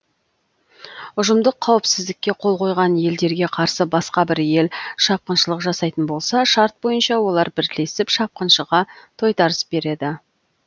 ұжымдық қауіпсіздікке қол қойған елдерге қарсы басқа бір ел шапқыншылық жасайтын болса шарт бойынша олар бірлесіп шапқыншыға тойтарыс береді